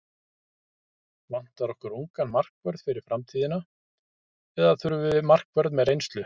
Vantar okkur ungan markvörð fyrir framtíðina eða þurfum við markvörð með reynslu?